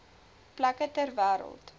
plekke ter wêreld